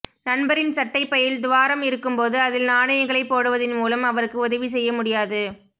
நண்பரின் சட்டைப்பையில் துவாரம் இருக்கும்போது அதில் நாணயங்களை போடுவதின் மூலம் அவருக்கு உதவி செய்ய முடியாது